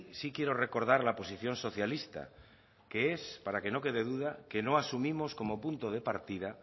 sí quiero recordar la posición socialista que es para que no quede duda que no asumimos como punto de partida